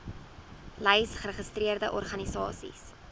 lys geregistreerde organisasies